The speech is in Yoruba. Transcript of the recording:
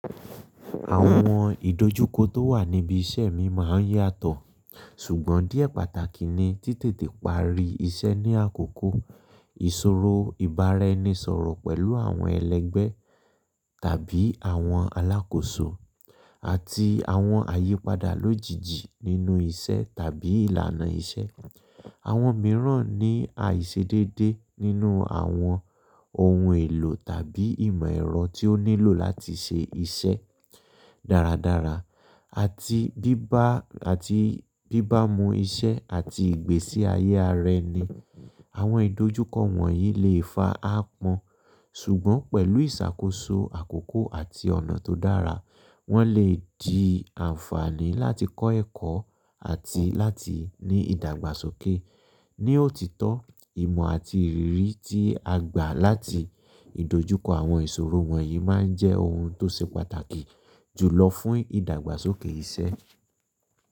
Àwọn ìdojúkọ tó wà níbi iṣẹ́ mi máa ń yàtọ̀, ṣùgbọ́n díẹ̀ pàtàkì ni ti tètè parí iṣẹ́ ní àkókò, ìṣòro ìbára-ẹni-sọ̀rọ̀ pẹ̀lú àwọn ẹlẹgbẹ́ tàbí àwọn alákòóso, àti àwọn àyípadà lójijì nínú iṣẹ́ tàbí ìlànà iṣẹ́. Àwọn mìíràn ní àìṣedédé nínú àwọn ohun èlò tàbí ìmọ̀ ẹ̀rọ tí ó nílò láti ṣe iṣẹ́ dáradára àti bíbá mú iṣẹ́ àti ìgbésí ayé ara ẹni. Àwọn ìdojúkọ wọ̀nyí lè fa áápọ́n, ṣùgbọ́n pẹ̀lú ìṣàkóso àkókò àti ọ̀nà tó dára, wọ́n lè di àǹfààní láti kọ́ ẹ̀kọ́ àti láti ní ìdàgbàsókè. Ní òtítọ́, ìmọ̀ àti ìrírí tí a gbà láti ìdojúkọ àwọn ìṣòro wọ̀nyí máa ń jẹ́ ohun tó ṣe pàtàkì jùlọ fún ìdàgbàsókè iṣẹ́.